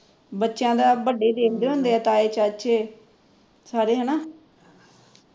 ਬੱਚਿਆ ਦਾ ਵੱਡੇ ਹੀ ਦੇਖਦੇ ਹੁੰਦੇ ਐ ਤਾਈ ਚਾਚੇ ਸਾਰੇ ਹੈਣਾ